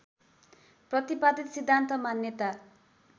प्रतिपादित सिद्धान्त मान्यता